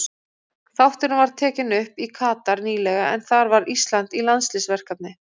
Þátturinn var tekinn upp í Katar nýlega en þar var Ísland í landsliðsverkefni.